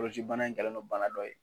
kolocibana in kɛlen no bana dɔ ye.